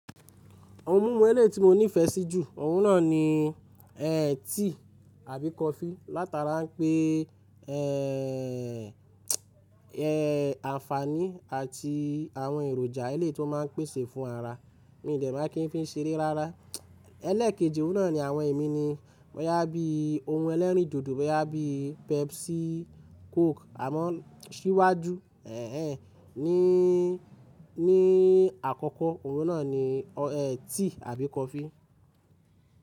Ohun mímu ẹlẹ́ ti mo nífẹ̀ẹ́ sí jù, òun náà ni ẹ́ tea àbí coffee. Látara pé ẹ́ àǹfàní àti àwọn èròjà ẹlẹ́ tó má n pèsè fún ara, mi ò dẹ̀ máa kí n fi sẹrẹ́ rárá. Ẹlẹ́kẹ́ji òun náà ni àwọn emíni bọyà bí ohun ẹlẹ́rìndòdò boyà bí Pepsi, Coke. Àmọ́ ṣíwájú, ẹẹ́ ní, ní àkọ́kọ́ ohun náà ni ẹ́ tea àbí coffee.